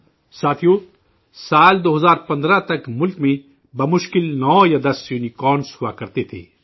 ساتھیو، سال 2015 تک ملک میں بہ مشکل نو یا دس یونی کارن ہوا کرتے تھے